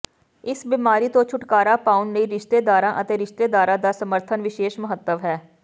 ਇਸ ਬਿਮਾਰੀ ਤੋਂ ਛੁਟਕਾਰਾ ਪਾਉਣ ਲਈ ਰਿਸ਼ਤੇਦਾਰਾਂ ਅਤੇ ਰਿਸ਼ਤੇਦਾਰਾਂ ਦਾ ਸਮਰਥਨ ਵਿਸ਼ੇਸ਼ ਮਹੱਤਵ ਹੈ